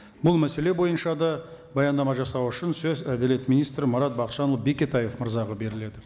бұл мәселе бойынша да баяндама жасау үшін сөз әділет министрі марат бақытжанұлы бекетаев мырзаға беріледі